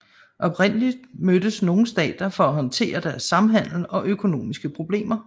Oprindelig mødtes nogle stater for at håndtere deres samhandel og økonomiske problemer